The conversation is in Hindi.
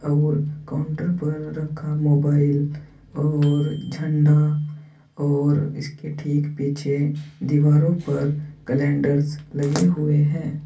और काउंटर पर रखा मोबाइल और झंडा और इसके ठीक पीछे दीवारों पर कैलेंडर्स लगे हुए हैं।